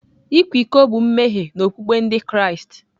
Ịkwa iko bụ mmehie n'okpukpe Ndị Kraịst.